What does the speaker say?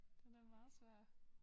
Den er meget svær